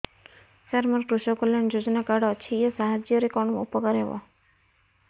ସାର ମୋର କୃଷକ କଲ୍ୟାଣ ଯୋଜନା କାର୍ଡ ଅଛି ୟା ସାହାଯ୍ୟ ରେ କଣ ଉପକାର ହେବ